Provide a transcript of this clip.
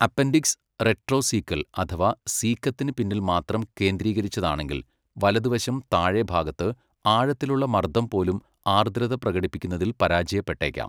Appendix retrocaecal അഥവാ സീക്കത്തിന് പിന്നിൽ മാത്രം കേന്ദ്രീകരിച്ചതാണെങ്കിൽ, വലതുവശം താഴെ ഭാഗത്ത് ആഴത്തിലുള്ള മർദ്ദം പോലും ആർദ്രത പ്രകടിപ്പിക്കുന്നതിൽ പരാജയപ്പെട്ടേക്കാം.